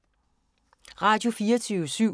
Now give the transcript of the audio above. Radio24syv